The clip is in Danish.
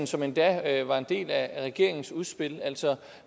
som endda var en del af regeringens udspil altså